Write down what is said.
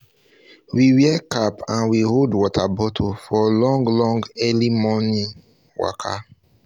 we wear cap and we hold water um bottle for long long early long early um momo um waka